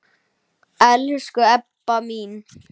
Elsku Ebba mín.